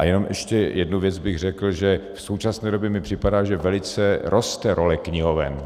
A jenom ještě jednu věc bych řekl, že v současné době mi připadá, že velice roste role knihoven.